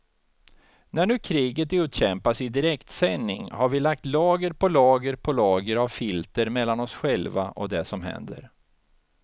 När nu kriget utkämpas i direktsändning har vi lagt lager på lager på lager av filter mellan oss själva och det som händer.